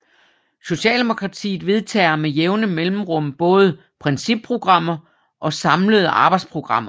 Socialdemokratiet vedtager med jævne mellemrum både principprogrammer og samlede arbejdsprogrammer